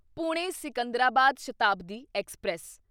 Pune Secunderabad Shatabdi express